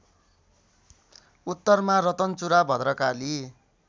उत्तरमा रतनचुरा भद्रकाली